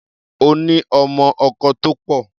Ó ní ọmọ-ọkọ tó pọ̀.